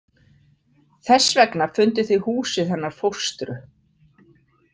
Þess vegna funduð þið húsið hennar fóstru.